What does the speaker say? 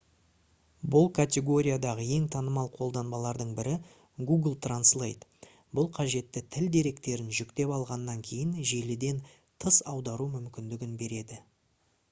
бұл категориядағы ең танымал қолданбалардың бірі google translate бұл қажетті тіл деректерін жүктеп алғаннан кейін желіден тыс аудару мүмкіндігін береді